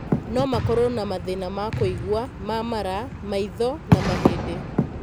No makorũo na mathĩĩna ma kũigua, ma mara, maitho na mahĩndĩ.